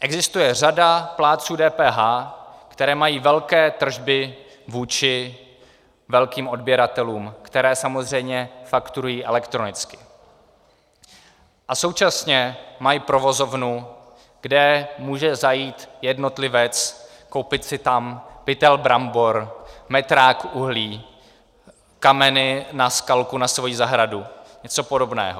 Existuje řada plátců DPH, kteří mají velké tržby vůči velkým odběratelům, které samozřejmě fakturují elektronicky, a současně mají provozovnu, kam může zajít jednotlivec, koupit si tam pytel brambor, metrák uhlí, kameny na skalku na svoji zahradu, něco podobného.